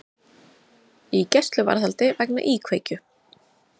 Í gæsluvarðhaldi vegna íkveikju